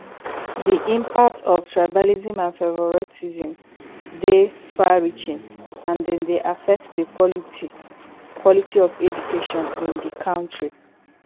di impact of tribalism and favoritism dey farreaching and dem dey affect di quality quality of education in di country